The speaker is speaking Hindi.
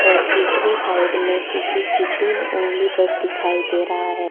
और दूसरे साइड में किसी की तीन उंगली बस दिखाई दे रहा है।